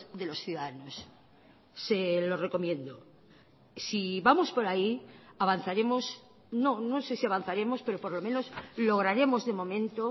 de los ciudadanos se lo recomiendo si vamos por ahí avanzaremos no no sé si avanzaremos pero por lo menos lograremos de momento